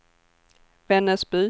Vännäsby